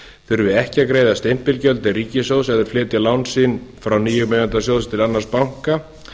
þurfi ekki að greiða stimpilgjöld til ríkissjóðs eða flytja lán sín frá nýjum eiganda sjóðsins til annars banka